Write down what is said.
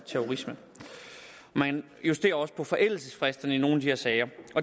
terrorisme man justerer også på forældelsesfristen i nogle af de her sager